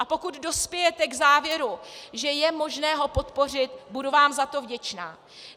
A pokud dospějte k závěru, že je možné ho podpořit, budu vám za to vděčná.